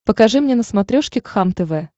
покажи мне на смотрешке кхлм тв